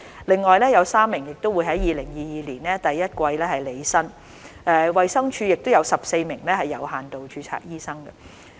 另外有3名會在2022年第一季前履新，衞生署亦有14名有限度註冊醫生。